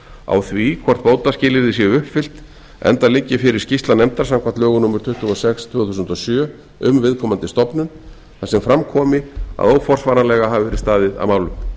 á því hvort bótaskilyrði séu uppfyllt enda liggi fyrir skýrsla nefndar samkvæmt lögum númer tuttugu og sex tvö þúsund og sjö um viðkomandi stofnun þar sem fram komi að óforsvaranlega hafi verið staðið að málum